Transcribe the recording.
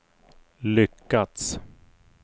lyckats